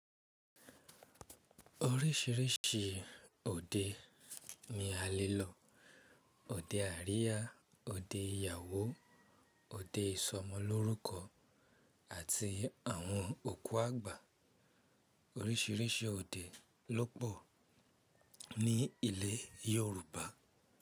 Oríṣiríṣi òde ni a lè lọ òde àríyá, òde ìyàwó, òde ìsọmọlórúkọ àti àwọn òkú àgbà. Oríṣiríṣi òde ló pọ̀ ní ilẹ̀ Yorùbá.